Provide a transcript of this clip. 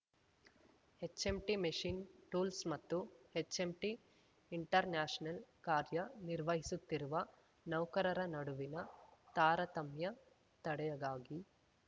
HMT machine ಟೂಲ್ಸ್ಮತ್ತು HMT international ಕಾರ್ಯ ನಿರ್ವಹಿಸುತ್ತಿರುವ ನೌಕರರ ನಡುವಿನ ತಾರತಮ್ಯ ತಡೆಗಾಗಿ